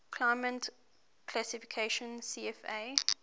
climate classification cfa